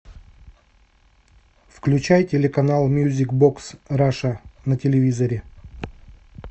включай телеканал мьюзик бокс раша на телевизоре